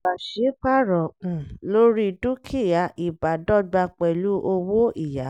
pàṣípàrọ̀ um lórí dúkìá (íbádọ́gba pẹ̀lú owó-ìyá).